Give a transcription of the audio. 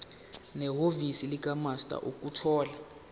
nehhovisi likamaster ukuthola